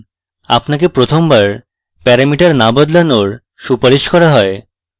আপনাকে প্রথমবার প্যারামিটার না বদলানোর সুপারিশ করা হয়